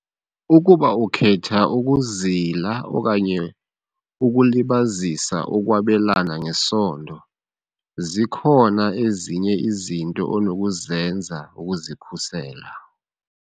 Ukuba ukhetha ukuzila okanye ukulibazisa ukwabelana ngesondo, zikhona ezinye izinto onokuzenza ukuzikhusela.